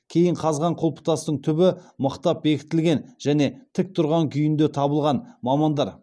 кейін қазған құлпытастың түбі мықтап бекітілген және тік тұрған күйінде табылған